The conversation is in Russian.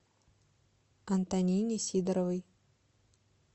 антонине сидоровой